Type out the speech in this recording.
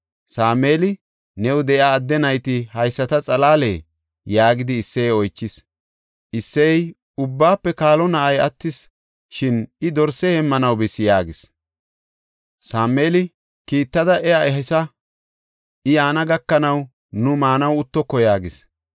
Sameeli, “New de7iya adde nayti haysata xalaalee?” yaagidi Isseye oychis. Isseyey, “Ubbaafe kaalo na7ay attis; shin I dorse heemmanaw bis” yaagis. Sameeli, “Kiittada iya ehisa; I yaana gakanaw nu maanaw uttoko” yaagis.